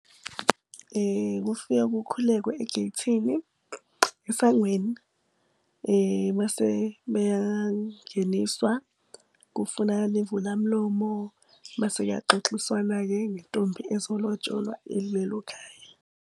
Kufika kukhulekwa egeythini, esangweni. Bese-ke beyangeniswa, kufunakale imvulamlomo. Mase kuyaxoxiswana-ke ngentombi ezolotsholwa ekulelo khaya.